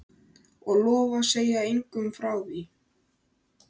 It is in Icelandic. Og lofa að segja engum frá því?